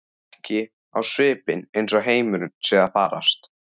Ekki á svipinn eins og heimurinn sé að farast.